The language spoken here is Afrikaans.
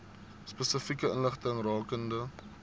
spesifieke inligting rakende